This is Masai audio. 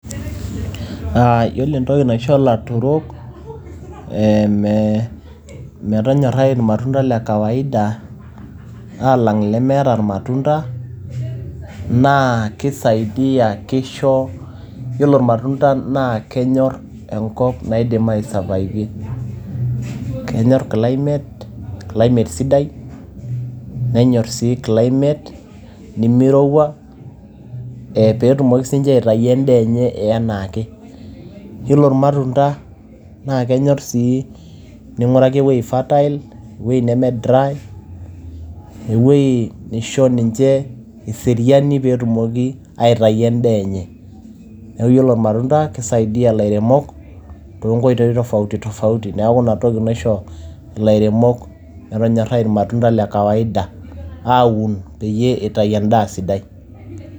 Yiolo entoki naisho ilaturok metonyorai ilmatunda le kawaida aalang ilemeeta ilmatunda naa keisaidia kisho, yiolo imatunda naa kenyorr enkop naidim ai survive ie. Kenyorr climate, climate sidai. Nenyorr sii climate nemeirowua. Pee etumoki sii ninche aitayu en`aa enye e enaake. Ore ilmatunda naa kenyorr sii ning`uraki ewueji fertile ewueji neme dry. Ewueji neisho ninche eseriani pee etumoki aitayu en`daa enye. Niaku ore ilmatunda keisaidia ilairemok too nkoitoi tofauti tofauti niaku ina toki naisho ilairemok metonyorai ilmatunda le kawaida aun peyie eitayu en`daa sidai.